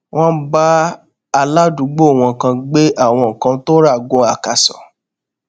wón bá aládùúgbò wọn kan gbé àwọn nǹkan tó rà gun akaso